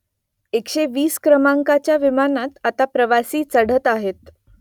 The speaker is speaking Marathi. एकशे वीस क्रमांकाच्या विमानात आता प्रवासी चढत आहेत